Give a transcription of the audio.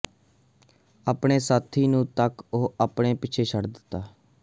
ਆਪਣੇ ਸਾਥੀ ਨੂੰ ਤੱਕ ਉਹ ਆਪਣੇ ਪਿੱਛੇ ਛੱਡ ਦਿੱਤਾ